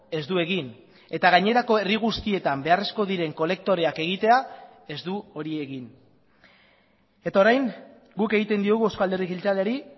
ez du egin eta gainerako herri guztietan beharrezkoak diren kolektoreak egitea ez du hori egin eta orain guk egiten diogu eusko alderdi jeltzaleari